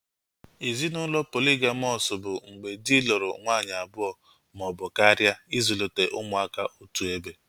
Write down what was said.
Ezinaụlọ poligamọs bụ mgbe dị lụrụ nwanyị abụọ maọbụ karịa ịzụlite ụmụaka otuebe